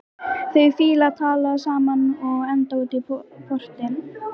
Þau Fía taka tal saman og enda útí porti.